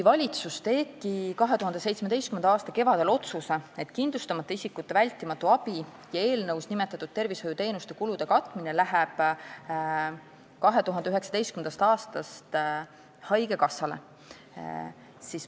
Valitsus tegi 2017. aasta kevadel otsuse, et kindlustamata isikute vältimatu abi ja eelnõus nimetatud tervishoiuteenuste kulude katmine läheb 2019. aastast üle haigekassale.